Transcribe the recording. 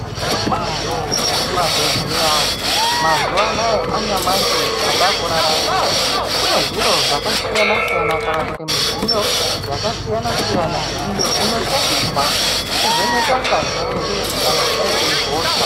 Zviro kwazvo kuma bhedhleya mazuva anaya anyamashi ataku rarama kune zviro zvaka siyana siyana kana kuti mudziyo yaka siyana siyana iyo ino shandiswa ku vheneka ngazi redu kana taite hosha.